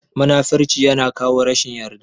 Munafurci ya na kawo rashin yarda